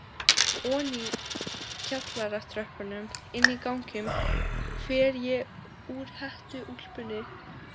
Oní kjallaratröppurnar, Inní ganginum fer ég úr hettuúlpunni.